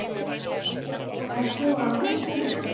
Ert þú á útleið?